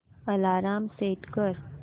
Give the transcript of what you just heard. alarm set कर